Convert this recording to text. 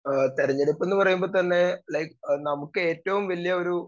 speaker 2 ആഹ് തെരഞ്ഞെടുപ്പെന്ന് പറയുമ്പോ തന്നെ ലൈഫ് നമുക്ക് ഏറ്റവും വലിയൊരു